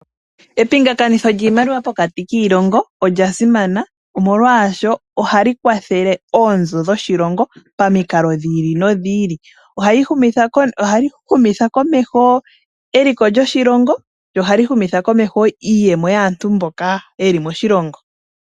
Epingathanitho lyiimaliwa pokati kiilongo olya simana omolwashoka ohali kwathele oonzo dhoshilongo, pamikalo dhi ili nodhi ili. Ohali humitha komeho eliko lyoshilongo lyo ohali bumitha komeho iiyemo yaantu mboka ye li moshilongo.